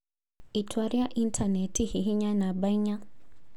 itua rĩa intanenti hihinya namba inya